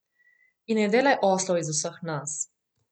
In ne delaj oslov iz vseh nas.